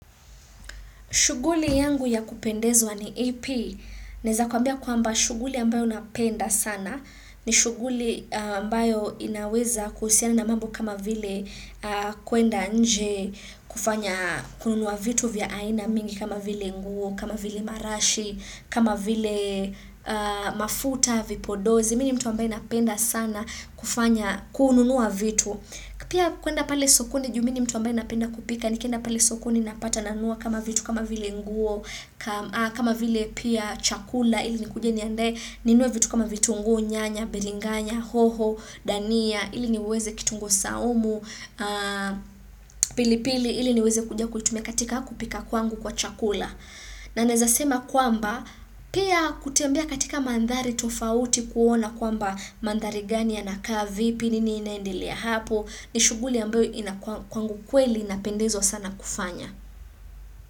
Shughuli yangu ya kupendezwa ni ipi. Naeza kwambia kwa mba shughuli ambayo napenda sana ni shughuli ambayo inaweza kusiana na mambo kama vile kwenda nje kufanya kununua vitu vya aina mingi kama vile nguo, kama vile marashi, kama vile mafuta, vipodozi. Mini mtu ambaye napenda sana kufanya kununua vitu. Pia kwenda pale sokoni juumini mtu ambaye napenda kupika, nikienda pale sokoni napata nanua kama vitu kama vile nguo, kama vile pia chakula ili ni kujeni ande, ninue vitu kama vitu nguu, nyanya, beringanya, hoho, dania, ili niweze kitunguu saumu, pili pili, ili niweze kuja kuitume katika kupika kwangu kwa chakula. Na nezasema kwamba, pia kutembea katika mandhari tofauti kuona kwamba mandhari gani ya nakaa vipi nini inaendilia hapo, ni shughuli ambayo kwangukweli inapendezwa sana kufanya.